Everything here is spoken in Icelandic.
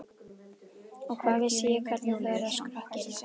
Og hvað vissi ég hvernig þú yrðir á skrokkinn.